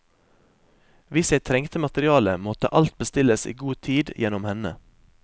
Hvis jeg trengte materiale, måtte alt bestilles i god tid gjennom henne.